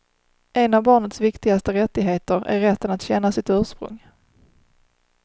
En av barnets viktigaste rättigheter är rätten att känna sitt ursprung.